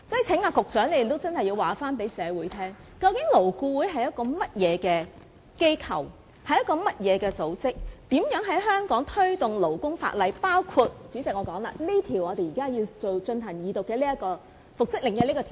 請局長認真告訴社會，究竟勞顧會是一個甚麼機構或組織，它如何在香港推動保障勞工的法例，包括這項現正要進行二讀的《條例草案》所涉及的復職令。